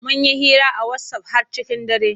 Mun yi hira a wasaf har cikin dare.